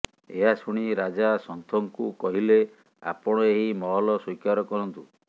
ଏହା ଶୁଣି ରାଜା ସନ୍ଥଙ୍କୁ କହିଲେ ଆପଣ ଏହି ମହଲ ସ୍ୱୀକାର କରନ୍ତୁ